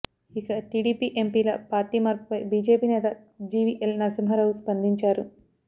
ఇక టీడీపీ ఎంపీల పార్టీ మార్పుపై బీజేపీ నేత జీవీఎల్ నరసింహారావు స్పందించారు